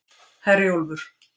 Herjólfur